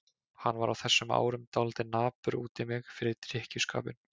Hann var á þessum árum dálítið napur út í mig fyrir drykkjuskapinn.